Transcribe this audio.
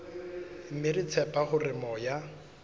mme re tshepa hore moya